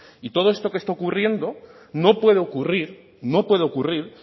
y todo esto que está ocurriendo no puede ocurrir no puede ocurrir